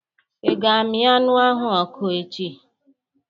I ga amị anụ ahụ n'ọkụ echi?